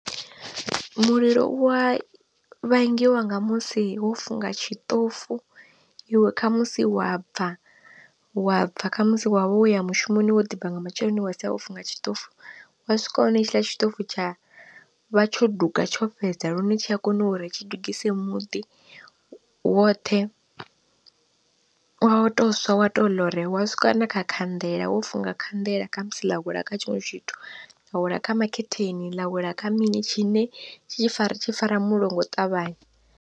Mulilo u wa vhangiwa nga musi wo funga tshiṱofu iwe khamusi wa bva, wa bva khamusi wavha wo ya mushumoni wo ḓi bva nga matsheloni wa sia wo funga tshiṱofu wa swika wa wana hetshiḽa tshiṱofu tsha vha tsho duga tsho fhedza lune tshi a kona uri tshi dugise muḓi woṱhe wa to swa wa to ḽore, wa swika na kha khanḓela wo funga khanḓela khamusi ḽa wela kha tshiṅwe tshithu ḽa wela kha makhetheni ḽa wela kha mini tshine tshi fara tshi fara mulilo ngo u ṱavhanya.